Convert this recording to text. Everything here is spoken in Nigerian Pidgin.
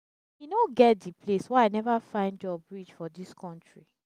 e no get di place wey i neva find job reach for dis country.